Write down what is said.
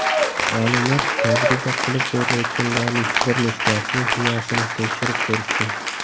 Olimlar tajriba qilib ko‘rilayotganlarning bir nechtasining miyasini tekshirib ko‘rishdi.